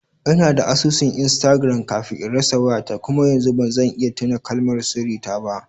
Ina da asusun Instagram kafin in rasa wayata kuma yanzu ba zan iya tuna kalmar sirri ta ba.